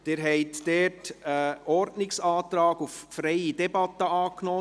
Sie haben hierzu einen Ordnungsantrag auf freie Debatte angenommen.